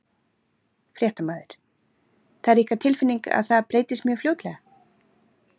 Fréttamaður: Það er ykkar tilfinning að það breytist mjög fljótlega?